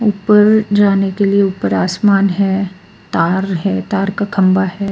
ऊपर जाने के लिए ऊपर आसमान है तार है तार का खंबा है.